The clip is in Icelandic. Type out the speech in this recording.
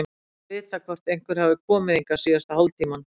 Ég þarf að vita hvort einhver hefur komið hingað síðasta hálftímann.